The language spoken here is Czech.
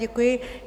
Děkuji.